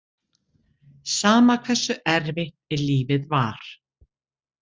Sama hversu erfitt lífið var.